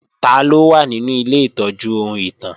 Taló wà nínú ilé ìtọ́jú ohun ìtàn?